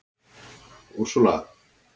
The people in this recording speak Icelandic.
Úrsúla